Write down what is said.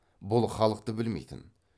бұл халықты білмейтін